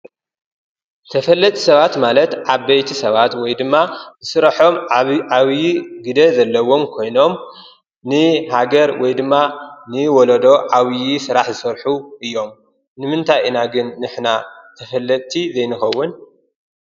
ተፈለጥቲ ሰባት ማለት ዓበይቲ ሰባት ወይ ድማ ስረሖም ዓብዪ ግደ ዘለዎም ኮይኖም ንሃገር ወይ ድማ ንወለዶ ዓብዪ ስራሕ ዝሰርሑ እዮም። ንምንታይ ኢና ግን ንሕና ተፈለጥቲ ዘይንኸውን?